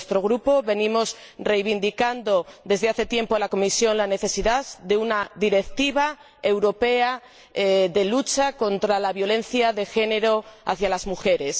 Desde nuestro Grupo, venimos reivindicando desde hace tiempo a la Comisión la necesidad de una directiva europea de lucha contra la violencia de género hacia las mujeres.